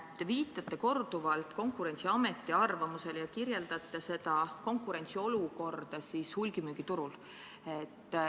Te viitasite korduvalt Konkurentsiameti arvamusele ja kirjeldasite konkurentsiolukorda hulgimüügiturul.